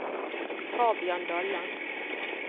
Fabian Dalland